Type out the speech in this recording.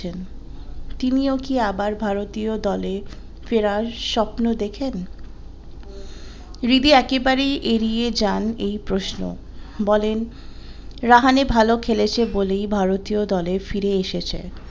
তিনি ও কি আবার ভারতীয় দলে ফেরার সপ্ন দেখেন রিদি ও একেবারেই এড়িয়ে যান এই প্রশ্ন, বলেন রাহানে ভালো খেলেছে বলেই ভারতীয় দলে ফিরে এসেছে।